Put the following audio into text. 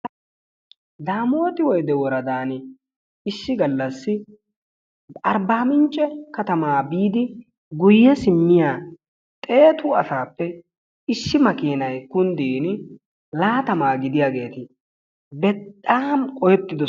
damoti woydde woradan issi gallassi arbbamincce woradaa biidi guyyee simmiya xeetu asappe issi makinay kunddin laattama gidiyaageeti bexaam qohetido ...